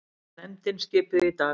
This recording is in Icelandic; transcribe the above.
Nefndin skipuð í dag